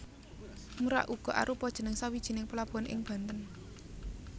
Merak uga arupa jeneng sawijining pelabuhan ing Banten